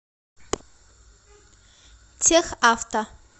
техавто